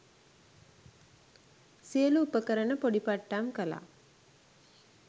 සියලු උපකරණ පොඩි පට්ටම් කළා